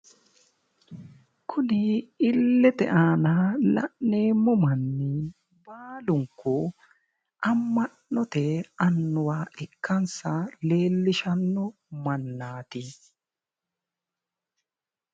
Kuni illete aana la'neemmo manni baalunku amma'note annuwa ikkansa leellishanno mannaati.